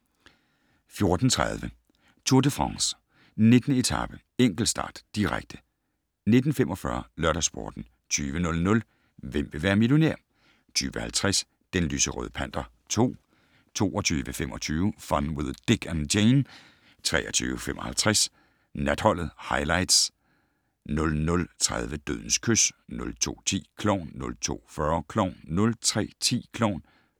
14:30: Tour de France: 19. etape - enkeltstart, direkte 19:45: LørdagsSporten 20:00: Hvem vil være millionær? 20:50: Den lyserøde panter 2 22:25: Fun with Dick and Jane 23:55: Natholdet - Highlights 00:30: Dødens kys 02:10: Klovn 02:40: Klovn 03:10: Klovn